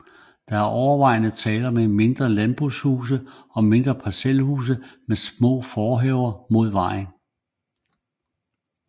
Der er overvejende tale om mindre landarbejderhuse og mindre parcelhuse med små forhaver mod vejen